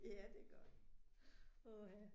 Ja, det godt. Åh ha